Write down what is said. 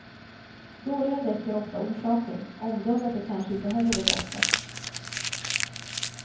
Dåliga däck är ofta orsaken, omdömet är kanske inte heller det bästa.